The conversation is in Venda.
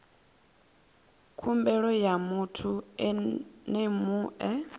khumbelo ya muthu ene mue